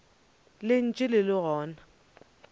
le ntše le le gona